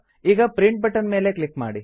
ಈಗ print button ಮೇಲೆ click ಮಾಡಿ